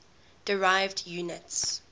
derived units